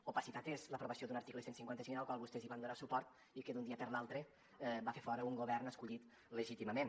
opacitat és l’aprovació d’un article cent i cinquanta cinc al qual vostès van donar suport i que d’un dia per l’altre va fer fora un govern escollit legítimament